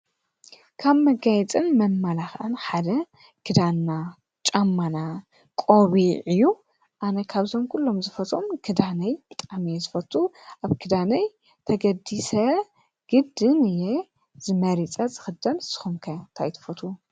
ካብ መጋይፅን መማላኽዕን ሓደ ክዳና፣ ጫማና፣ ቆቡዕ እዩ። ኣነ ካብዞም ኲሎም ዝፈትዎም ክዳነይ ብጣዕሚ እየ ዝፈቱ ኣብ ክዳነይ ተገዲሰ ግድን እየ መሪጸ ዝኽደን ንስኩም ከ ታይ ትፈትው?